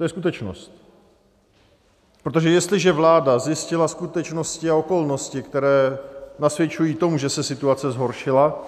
To je skutečnost, protože jestliže vláda zjistila skutečnosti a okolnosti, které nasvědčují tomu, že se situace zhoršila,